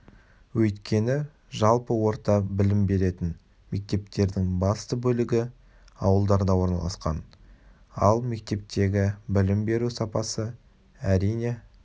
өйткені жалпы орта білім беретін мектептердің басты бөлігі ауылдарда орналасқан ал мектептегі білім беру сапасы әрине